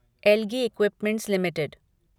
algae equipments limited